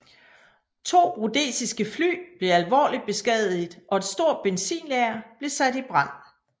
To rhodesiske fly blev alvorligt beskadiget og et stort benzinlager blev sat i brand